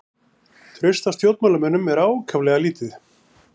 Traust á stjórnmálamönnum er ákaflega lítið